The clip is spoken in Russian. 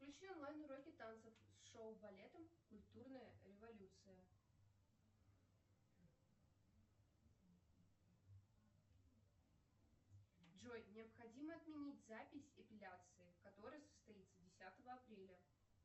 включи онлайн уроки танцев с шоу балетом культурная революция джой необходимо отменить запись эпиляции которая состоится десятого апреля